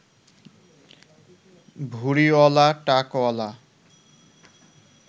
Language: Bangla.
ভুঁড়িঅলা, টাকঅলা